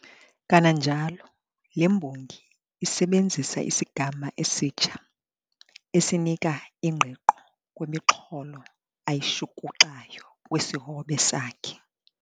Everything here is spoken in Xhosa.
Kananjalo, le mbongi isebenzisa isigama esitsha, esinika ingqiqo kwimixholo ayishukuxayo kwisihobe sakhe.